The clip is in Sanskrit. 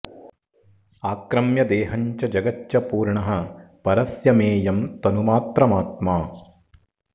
आक्रम्य देहं च जगच्च पूर्णः परस्य मेयं तनुमात्रमात्मा